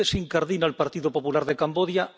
¿Dónde se incardina el Partido Popular de Camboya?